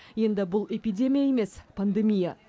енді бұл эпидемия емес пандемия